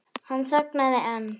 Hann þagnaði en